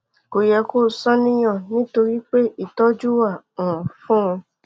kò yẹ kó o ṣàníyàn nítorí pé ìtọjú wà um fún un